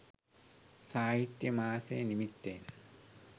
සාහිත්‍ය මාසෙ නිමිත්තෙන්